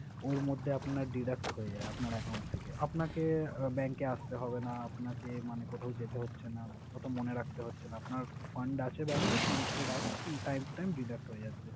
ওর মধ্যে আপনার direct হয় যায়, আপনার account থেকে। আপনাকে bank এ আসতে হবে, আপনাকে মানে কোথাও যেতে হচ্ছে না, ওতো মনে রাখতে হচ্ছে না। আপনার fund আছে bank এ, fund থেকে direct time to time deduct হয়ে যাচ্ছে।